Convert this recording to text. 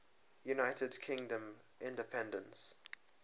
united kingdom independence